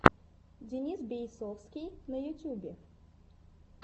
денис бейсовский на ютюбе